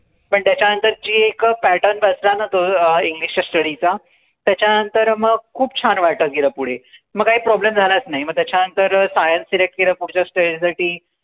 पण त्याच्या नंतर जे एक pattern बसला न तो आह english च्या study चा त्याच्या नंतर मग खूप छान वाटत गेलं पुढे मग काय problem झालाच नाई मग त्याच्या नंतर scienceselect केलं पुढच्या stage साठी